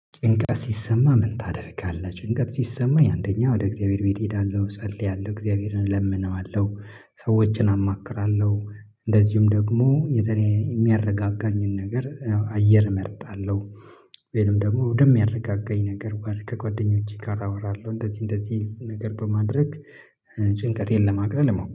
ጭንቀት ሲሰማህ ምን ታደርጋለህ? ጭንቀት ሲሰማኝ አንደኛ ወደ እግዚአብሔር ቤት እሄዳለሁ እጸልያለሁ እግዚአብሔርን እለምነዋለሁ። ሰዎችን አማክራለሁ። እንደዚሁም ደግሞ የተለያየ የሚያረጋጋኝን ነገር አየር እመርጣለሁ። ወይም ደግሞ ወደሚያረጋጋኝ ነገር ከጓደኞቼ ጋር አወራለሁ እንደዚህ እንደዚህ ነገር በማድረግ ጭንቀቴን ለማቅለል